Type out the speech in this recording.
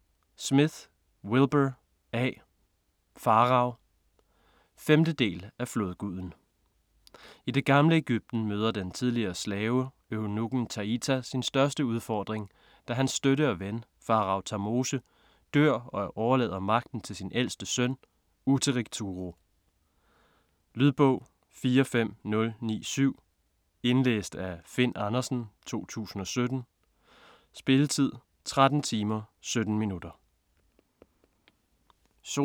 Smith, Wilbur A.: Farao 5. del af Flodguden. I det gamle Egypten møder den tidligere slave, eunukken Taita, sin største udfordring, da hans støtte og ven, faroe Tamose, dør og overlader magten til sin ældste søn, Utteric Turo. Lydbog 45097 Indlæst af Finn Andersen, 2017. Spilletid: 13 timer, 17 minutter.